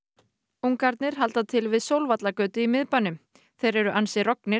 ungarnir halda til við Sólvallagötu í miðbænum þeir eru ansi